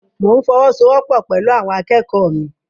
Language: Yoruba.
Mo n fọwọ́sowọ́po pẹlú àwọn akẹ́kọ̀ọ́ mi.